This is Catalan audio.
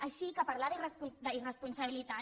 així que parlar d’irresponsabilitat